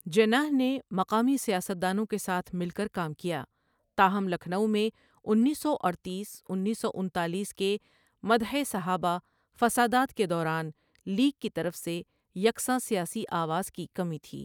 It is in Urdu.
جناح نے مقامی سیاست دانوں کے ساتھ مل کر کام کیا، تاہم لکھنؤ میں انیس سو اڈتیس انیس سو انتالیس کے مدحِ صحابہ فسادات کے دوران لیگ کی طرف سے یکساں سیاسی آواز کی کمی تھی